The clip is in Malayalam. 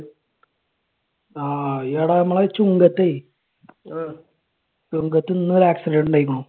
ആഹ് എടാ നമ്മടെ ചുങ്കത്തേ, ചുങ്കത്ത് ഇന്ന് ഒരു accident ഇണ്ടായിരുന്നു.